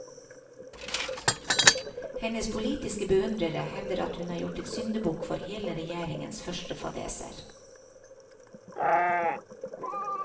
Hennes politiske beundrere hevder at hun er gjort til syndebukk for hele regjeringens første fadeser.